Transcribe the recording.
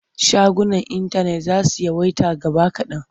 Shagunan intanet za su yawaita gaba kaɗan.